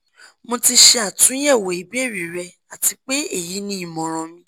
mo ti ṣe atunyẹwo ibeere rẹ ati pe eyi ni imọran mi